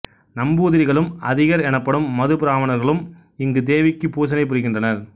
நம்பூதிரிகளும் அதிகர் எனப்படும் மதுப்பிராமணர்களும் இங்கு தேவிக்குப் பூசனை புரிகின்றனர்